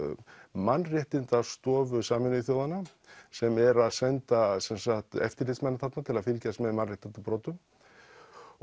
Mannréttindastofu Sameinuðu þjóðanna sem er að senda eftirlitsmann þarna til að fylgjast með mannréttindabrotum og